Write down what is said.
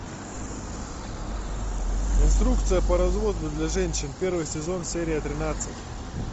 инструкция по разводу для женщин первый сезон серия тринадцать